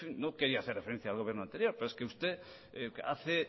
no quería hacer referencia al gobierno anterior pero es que usted hace